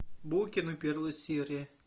букины первая серия